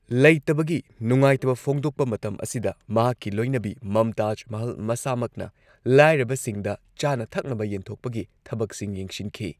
ꯂꯩꯇꯕꯒꯤ ꯅꯨꯡꯉꯥꯢꯇꯕ ꯐꯣꯛꯗꯣꯛꯄ ꯃꯇꯝ ꯑꯁꯤꯗ ꯃꯍꯥꯛꯀꯤ ꯂꯣꯏꯅꯕꯤ ꯃꯝꯇꯥꯖ ꯃꯍꯜ ꯃꯁꯥꯃꯛꯅ ꯂꯥꯏꯔꯕꯁꯤꯡꯗ ꯆꯥꯅ ꯊꯛꯅꯕ ꯌꯦꯟꯊꯣꯛꯄꯒꯤ ꯊꯕꯛꯁꯤꯡ ꯌꯦꯡꯁꯤꯟꯈꯤ꯫